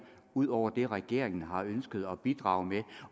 ud over det regeringen har ønsket at bidrage med